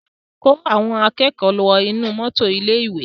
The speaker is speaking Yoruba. Kó àwọn akẹ́kọ̀ọ́ wọ inú mọ́tò ilé-ìwé!